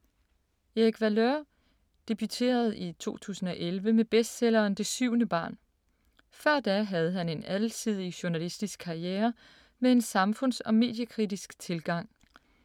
Erik Valeur debuterede i 2011 med bestselleren Det syvende barn. Før da havde han en alsidig journalistisk karriere med en samfunds- og mediekritisk tilgang.